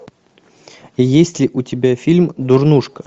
есть ли у тебя фильм дурнушка